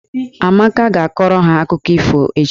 Amaka ga-akọrọ ha akụkọ ifo echi.